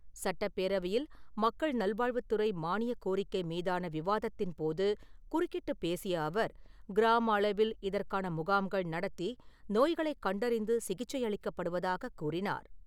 சட்டப் பேரவையில் மக்கள் நல்வாழ்வுத் துறை மானியக் கோரிக்கை மீதான விவாதத்தின்போது குறுக்கிட்டுப் பேசிய அவர், கிராம அளவில் இதற்கான முகாம்கள் நடத்தி நோய்களைக் கண்டறிந்து சிகிச்சை அளிக்கப்படுவதாகக் கூறினார்.